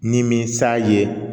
Ni min sa ye